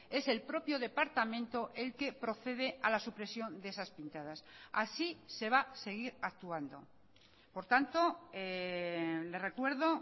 es el propio departamento el que procede a la supresión de esas pintadas así se va a seguir actuando por tanto le recuerdo